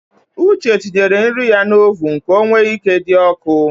Uche tinyere nri ya n’oven ka o wee ike dị ọkụ